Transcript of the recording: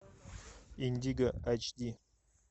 индиго эйч ди